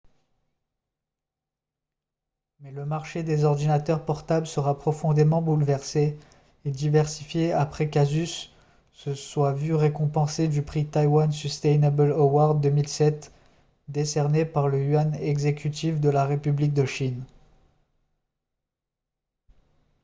mais le marché des ordinateurs portables sera profondément bouleversé et diversifié après qu'asus se soit vu récompenser du prix taiwan sustainable award 2007 décerné par le yuan exécutif de la république de chine